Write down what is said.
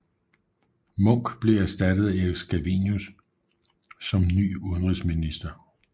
Munch blev erstattet af Erik Scavenius som ny udenrigsminister